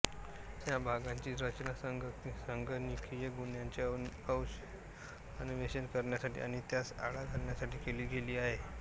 या भागांची रचना संगणकीय गुन्ह्यांचे अन्वेषण करण्यासाठी आणि त्यास आळा घालण्यासाठी केली गेली आहे